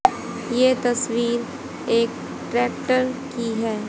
ये तस्वीर एक ट्रैक्टर की है।